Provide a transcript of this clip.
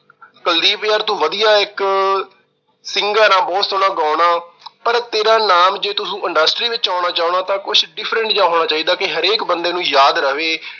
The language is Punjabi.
ਕੁਲਦੀਪ ਯਾਰ ਤੂੰ ਵਧੀਆ ਇੱਕ singer ਆ, ਬਹੁਤ ਸੋਹਣਾ ਗਾਉਂਦਾ। ਪਰ ਤੇਰਾ ਨਾਮ ਜੇ ਤੂੰ industry ਵਿੱਚ ਆਉਣਾ ਚਾਹੁੰਦਾ ਤਾਂ ਕੁਛ different ਜਾਂ ਹੋਣਾ ਚਾਹੀਦਾ ਕਿ ਹਰੇਕ ਬੰਦੇ ਨੂੰ ਯਾਦ ਰਵੇ।